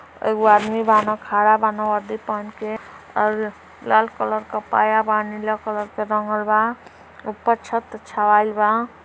एगो आदमी बान खड़ा बान वर्दी पहन के और लाल कलर के पाया बा नीला कलर का रंगल बा ऊपर छत छबाइल बा।